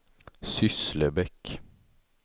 Sysslebäck